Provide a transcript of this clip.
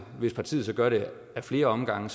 hvis partiet så gør det ad flere omgange